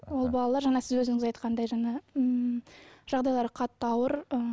ол балалар жаңа сіз өзіңіз айтқандай жаңа ммм жағдайлары қатты ауыр ыыы